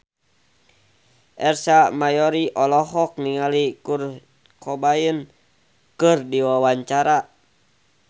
Ersa Mayori olohok ningali Kurt Cobain keur diwawancara